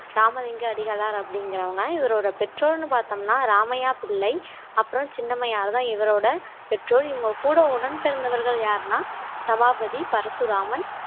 ராமலிங்க அடிகளார் அப்படிங்கிறவங்க இவரோட பெற்றோர்ன்னு பார்த்தோம்னா ராமைய்யா பிள்ளை அப்புறம் சின்னமையாலதான் இவரோட பெற்றோர் இவங்க கூட உடன் பிறந்தவர்கள் யாருன்னா சபாபதி பரசுராமன்